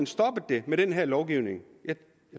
stoppet det med den her lovgivning jeg